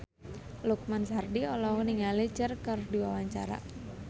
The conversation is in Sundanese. Lukman Sardi olohok ningali Cher keur diwawancara